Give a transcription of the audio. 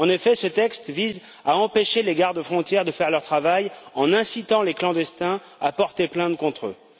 En effet, ce texte vise à empêcher les gardes frontières de faire leur travail, en incitant les clandestins à porter plainte contre eux.